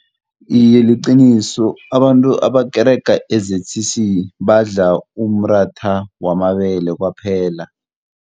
Iye, liqiniso abantu abakerega e-Z_C_C, badla umratha wamabele kwaphela.